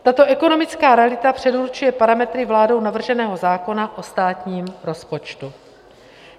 Tato ekonomická realita předurčuje parametry vládou navrženého zákona o státním rozpočtu.